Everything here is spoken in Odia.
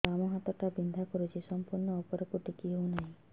ବାମ ହାତ ଟା ବିନ୍ଧା କରୁଛି ସମ୍ପୂର୍ଣ ଉପରକୁ ଟେକି ହୋଉନାହିଁ